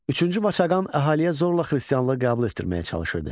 Üçüncü Vaçaqan əhaliyə zorla xristianlığı qəbul etdirməyə çalışırdı.